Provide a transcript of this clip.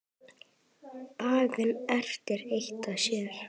Baga erindi eitt og sér.